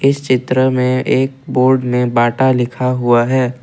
इस चित्र में एक बोर्ड में बाटा लिखा हुआ है।